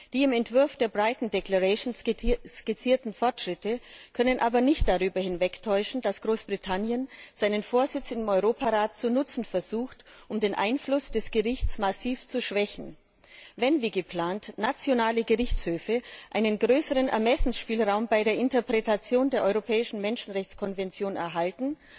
Die im Entwurf der Brighton Declarations skizzierten Fortschritte können aber nicht darüber hinwegtäuschen, dass Großbritannien seinen Vorsitz im Europarat zu nutzen versucht, um den Einfluss des Gerichts massiv zu schwächen. Wenn wie geplant nationale Gerichtshöfe einen größeren Ermessensspielraum bei der Interpretation der europäischen Menschenrechtskonvention erhalten,